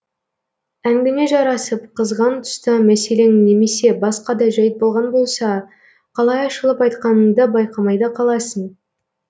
әңгіме жарасып қызған тұста мәселең немесе басқа да жайт болған болса қалай ашылып айтқаныңды байқамай да қаласың